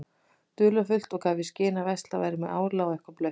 dularfullt og gaf í skyn að verslað væri með ála og eitthvað blautt.